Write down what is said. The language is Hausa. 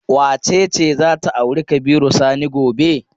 Wace ce za ta auri Kabiru Sani gobe?